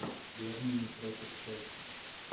бернли против челси